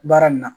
Baara nin na